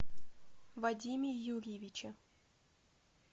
вадиме юрьевиче